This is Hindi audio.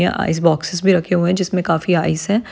यहाँ आइस बॉक्सेस भी रखे हुए हैं जिस मैं काफी आइस है।